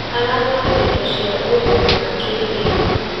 Aragũrire indo cia ũrĩmi wa kĩrĩu.